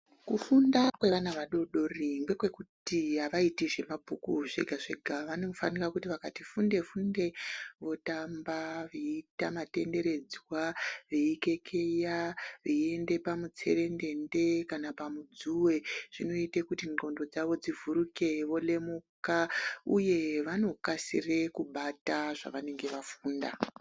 Kufunda kwevana vadodori ngekwekuti avaiti zvemabhuku zvega-zvega vanofanika kuti vakati funde funde votamba veiita matenderedzwa veikekeya veiende pamutserendende kana pamudzuwe zvinoite kuti ndxondo dzavo dzivhurike volemuka uye vanokasire kubata zvavanenge vafunda.